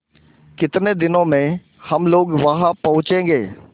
कितने दिनों में हम लोग वहाँ पहुँचेंगे